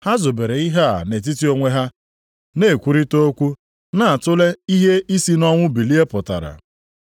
Ha zobere ihe a nʼetiti onwe ha, na-ekwurịtara okwu na-atule ihe isi nʼọnwụ bilie pụtara.